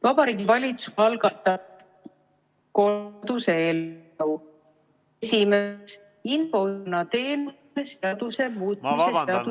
Heili Tõnisson, ma vabandan, ma pean katkestama.